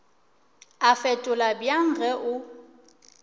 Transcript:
a fetola bjang ge o